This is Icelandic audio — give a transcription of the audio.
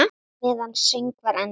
Meðan söngvar endast